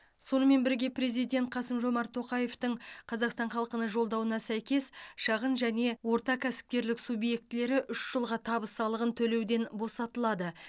сонымен бірге президент қасым жомарт тоқаевтың қазақстан халқына жолдауына сәйкес шағын және орта кәсіпкерлік субъектілері үш жылға табыс салығын төлеуден босатылады